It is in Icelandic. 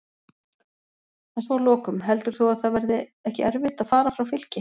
En svo að lokum, heldur þú að það verði ekki erfitt að fara frá Fylki?